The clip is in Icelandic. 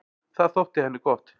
Það þótti henni gott.